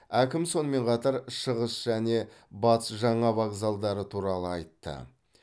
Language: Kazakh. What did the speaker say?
әкім сонымен қатар шығыс және батыс жаңа вокзалдары туралы айтты